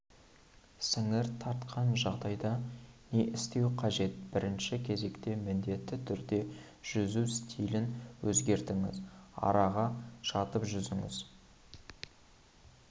сіңір тартқан жағдайда не істеу қажет бірінші кезекте міндетті түрде жүзу стилін өзгертіңіз араға жатып жүзіңіз